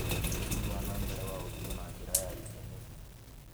ũthii wa na mbere wa ũritũ na njĩra ya ithimi.